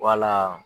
Wala